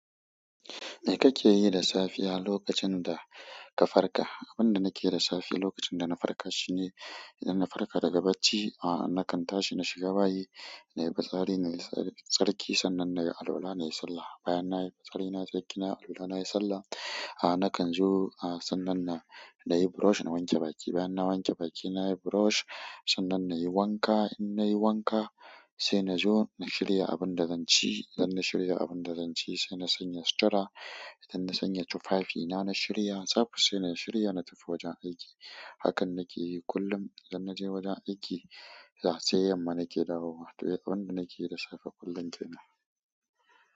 Me kake yi da safiya lokacin da ka farka? Abinda nakeyi da safe lokacin da na farka shine idan na farka daga bacci, a nakan tashi na shiga bayi, nayi fitsari nayi tsarki. Sannan nayi alwala nayi sallah bayan nayi tsarki nayi alwala nayi sallah ahh nakan zo ahhh sannan nayi brush na wanke baki, bayan na wanke baki nayi brush. Sannan nayi wanka. In nayi wanka sai na zo na shirya abinda zan ci. Idan na shirya abinda zan ci sai na sanya sutura. Idan na sanya tufafi na, na shirya tsab sai na shirya na tafi wajen aiki. Hakan nake yi kullum idan naje wajen aiki. Da sai yamma nake dawowa. Abinda nakeyi da safe kullum kenan.